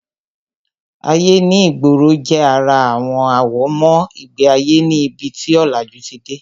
Ayé ní ìgboro jẹ́ ara àwọn àwọ̀mọ́ ìgbé ayé ní ibi tí ọ̀làjú ti dé